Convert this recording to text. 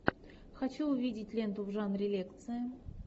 хочу увидеть ленту в жанре лекции